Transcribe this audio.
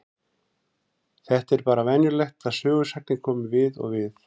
Þetta er bara venjulegt að sögusagnir komi við og við.